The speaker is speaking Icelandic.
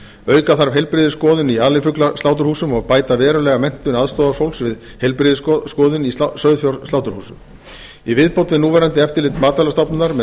auka þarf heilbrigðisskoðun í alifuglasláturhúsum og bæta verulega menntun aðstoðarfólks við heilbrigðisskoðun í sauðfjársláturhúsum í viðbót við núverandi eftirlit matvælastofnunar með